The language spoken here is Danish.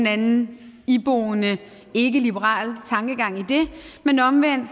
anden iboende ikkeliberal tankegang i det men omvendt